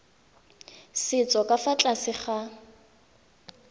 setso ka fa tlase ga